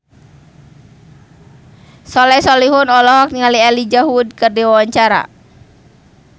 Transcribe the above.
Soleh Solihun olohok ningali Elijah Wood keur diwawancara